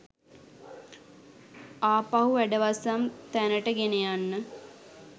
ආපහු වැඩවසම් තැනට ගෙනයන්න.